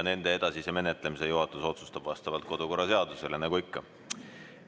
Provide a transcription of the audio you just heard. Nende edasise menetlemise otsustab juhatus vastavalt kodu‑ ja töökorra seadusele nagu ikka.